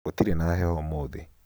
gũtĩrĩ na heho ũmũthĩ